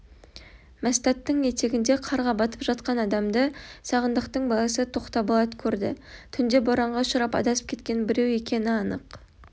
мәстәттің етегінде қарға батып жатқан адамды сағындықтың баласы тоқтаболат көрді түнде боранға ұшырап адасып кеткен біреу екені анық